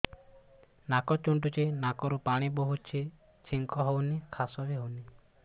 ନାକ ଚୁଣ୍ଟୁଚି ନାକରୁ ପାଣି ବହୁଛି ଛିଙ୍କ ହଉଚି ଖାସ ବି ହଉଚି